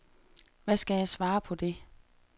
Hvad skal jeg svare på det?